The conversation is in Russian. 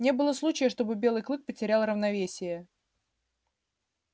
не было случая чтобы белый клык потерял равновесие